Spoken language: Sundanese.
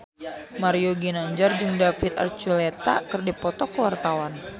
Mario Ginanjar jeung David Archuletta keur dipoto ku wartawan